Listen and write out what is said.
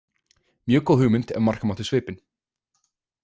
Mjög góð hugmynd ef marka mátti svipinn.